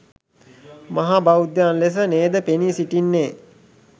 මහා බෞද්ධයන් ලෙස නේද පෙනී සිටින්නේ?